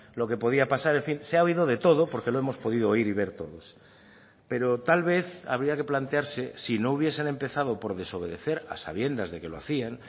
lo que podía pasar en fin se ha oído de todo porque lo hemos podido oír y ver todos pero tal vez habría que plantearse si no hubiesen empezado por desobedecer a sabiendas de que lo hacían